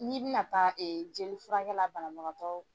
N'i bina taa e jelifurakɛla banabagatɔw.